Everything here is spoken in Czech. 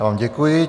Já vám děkuji.